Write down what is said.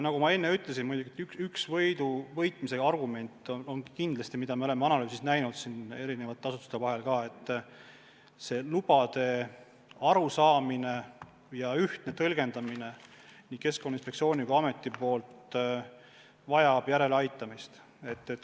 Nagu ma enne ütlesin, üks asi, mida me oleme analüüsides näinud, on see, et lubadest arusaamine ja nende ühtne tõlgendamine nii Keskkonnainspektsioonis kui ametis vajab järeleaitamist.